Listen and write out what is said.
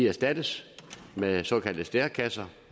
erstattes med såkaldte stærekasser